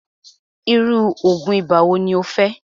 irú oògùn ibà wo ní o fẹ́?